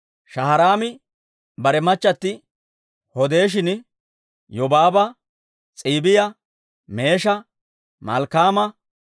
Shaharaami bare machati Hodeeshin Yobaaba, S'iibiyaa, Meesha, Malkkaama,